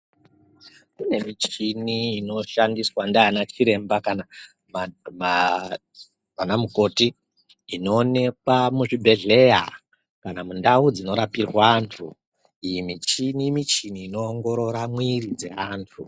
Kune michini inoshandiswa ndiana chiremba kana vanamukoti, inoonekwa muzvibhedhlera kana kuti mundau dzinorapirwa antu. Iyi michini, michini inoongorora mwiri dzeantu.